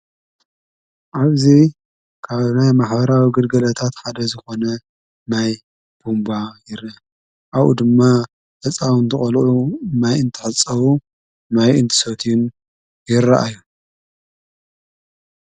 ኣብዚይ ካብናይ ማሕበራዊ ግልጋሎትሓደ ዝኾነ ማይ ቦምባ ይር ኣኡ ድማ እፃው ንተቐልዑ ማይ እንተሓጸዉ ማይ እንትሰትዩን ይረአዮ።